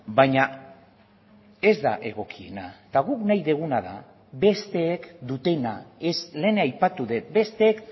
baina ez da egokiena eta guk nahi duguna da besteek dutena ez lehen aipatu dut besteek